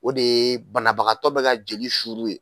O de ye banabagatɔ bɛ ka joli suru ye.